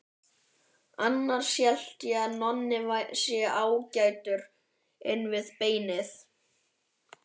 Annars held ég að Nonni sé ágætur inn við beinið.